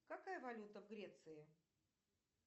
какая валюта в греции